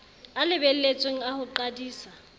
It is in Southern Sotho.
a lebelletsweng a ho qadisa